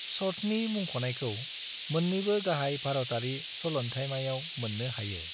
छठनि मुंख'नायखौ मोननैबो गाहाय भारतारि सलन्थाइमायाव मोननो हायो।